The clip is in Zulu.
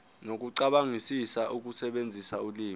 nokucabangisisa ukusebenzisa ulimi